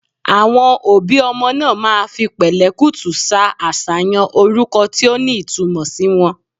Àwon obi omo naa maa fi pèlékùtù sa àsàyàn oruko ti o ni itumò si won